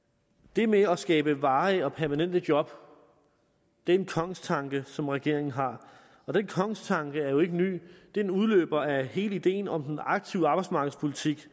det med at skabe varige og permanente job er en kongstanke som regeringen har og den kongstanke er jo ikke ny den udløber af hele ideen om den aktive arbejdsmarkedspolitik